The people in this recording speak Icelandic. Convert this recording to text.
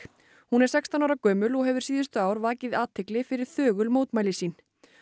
hún er sextán ára gömul og hefur síðustu ár vakið athygli fyrir þögul mótmæli sín